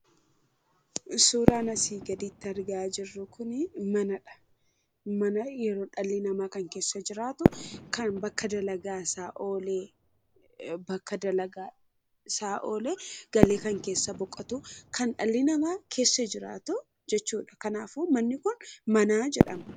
Suuraan asii gaditti argaa jirru kun manadha. Mana yeroo dhalli namaa keessa jiraatu kan bakka dalagaasaa oolee galee kan keessa boqotu , kan dhalli namaa keessa jiraatu jechuudha. Kanaafuu manni kun mana jedhama.